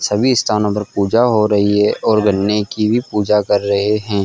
सभी स्थानों पर पूजा हो रही है और गन्ने की भी पूजा कर रहे हैं।